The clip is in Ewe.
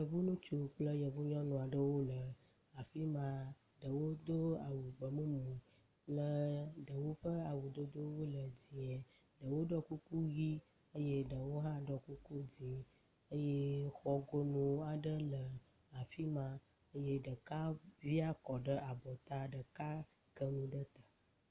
Yevu ŋutsu kple yevunyɔnuwo le afi ma, ɖewo do awu gbe mumu, kple ɖewo ƒe awudodo wole dzɛ̃e, ɖewo ɖo kuku ʋi eye ɖewo hã ɖɔ kuku dzɛ̃e eye xɔ gono aɖe le afi ma eye ɖeka via kɔ ɖe abɔta, ɖeka ke nu ɖe te.